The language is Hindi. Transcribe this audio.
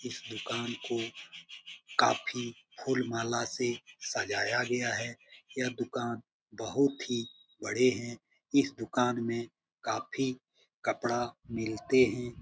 इस दुकान को काफी फूल माला सजाया गया है यह दुकान बहुत ही बड़े है इस दुकान मे काफी कपड़ा मिलते हैं।